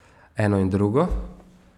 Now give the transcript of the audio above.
Eno in drugo.